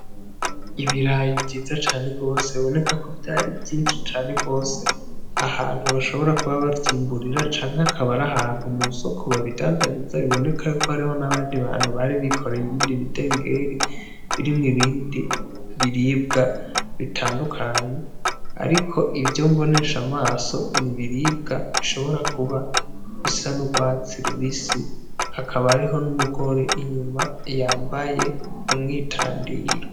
Ibirayi vyiza cane rwose biboneka ko vyari vyinshi cane rwose ahantu bashobora kuba bavyimburira canke akabari ahantu mu soko babidandariza biboneka yuko hariho n'abandi bantu bari bikoreye ibindi bidengeri birimwo ibindi biribwa bitandukanye, ariko ivyo mbonesha amaso ni biribwa bishobora kuba bisa n'urwatsi rubisi hakaba ariho n'umugore inyuma yambaye umwitandiro.